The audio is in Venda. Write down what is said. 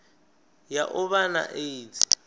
ya u vha na aids